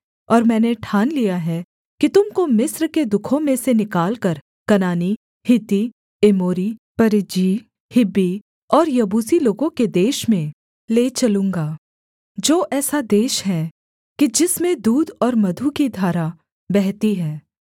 और मैंने ठान लिया है कि तुम को मिस्र के दुःखों में से निकालकर कनानी हित्ती एमोरी परिज्जी हिब्बी और यबूसी लोगों के देश में ले चलूँगा जो ऐसा देश है कि जिसमें दूध और मधु की धारा बहती है